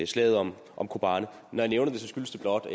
slaget om om kobane når jeg nævner det skyldes det blot at